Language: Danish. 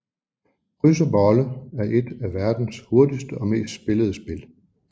Kryds og bolle er et af verdens hurtigste og mest spillede spil